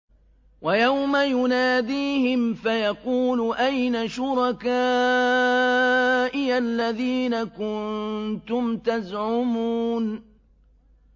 وَيَوْمَ يُنَادِيهِمْ فَيَقُولُ أَيْنَ شُرَكَائِيَ الَّذِينَ كُنتُمْ تَزْعُمُونَ